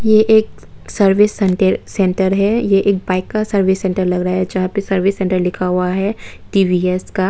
ये एक सर्विस सनटर सेंटर है ये एक बाइक का सर्विस सेंटर लग रहा है जहां पे सर्विस सेंटर लिखा हुआ है टी_वी_एस का।